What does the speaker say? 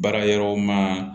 Baara yɔrɔ ma